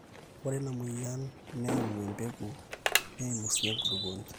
ore ina mweyian neimu empegu neimu sii enkulukuoni